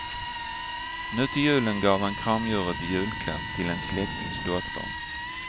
Nu till julen gav han kramdjuret i julklapp till en släktings dotter.